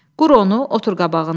Qur onu, otur qabağında.